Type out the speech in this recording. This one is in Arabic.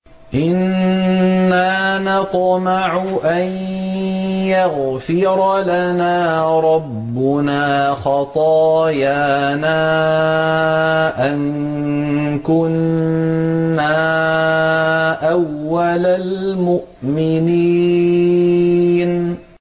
إِنَّا نَطْمَعُ أَن يَغْفِرَ لَنَا رَبُّنَا خَطَايَانَا أَن كُنَّا أَوَّلَ الْمُؤْمِنِينَ